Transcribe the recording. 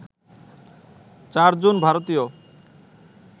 চারজন ভারতীয়